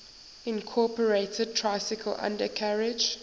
incorporated tricycle undercarriage